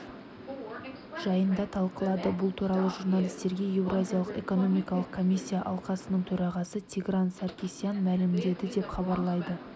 жайын талқылады бұл туралы журналистерге еуразиялық экономикалық комиссия алқасының төрағасы тигран саркисян мәлімдеді деп хабарлайды